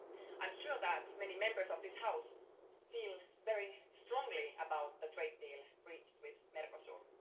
I'm sure that many Members of this House feel very strongly about the trade deal reached with Mercosur.